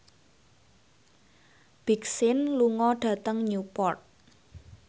Big Sean lunga dhateng Newport